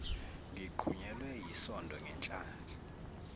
ngiqhunyelwe yisondo ngenhlanhla